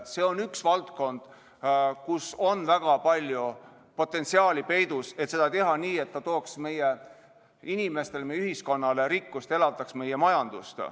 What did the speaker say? See on üks valdkondi, kus on väga palju potentsiaali peidus: kuidas seda teha nii, et see tooks meie inimestele, meie ühiskonnale rikkust, elavdaks meie majandust.